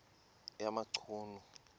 yamachunu